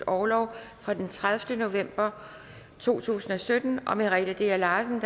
orlov fra den tredivete november to tusind og sytten og merete dea larsen